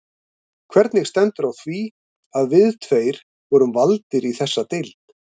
Hvernig stendur á því, að við tveir vorum valdir í þessa deild?